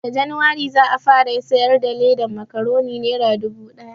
Nan da januwari za a fara siyar da ledan makuroni nera dubu ɗaya